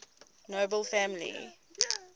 nobel family